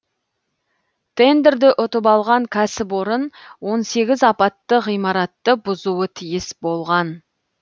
тендерді ұтып алған кәсіпорын он сегіз апатты ғимаратты бұзуы тиіс болған